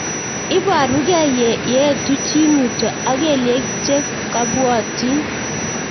Iparukei yee etu chii mutyo ak kelyek che kabuotin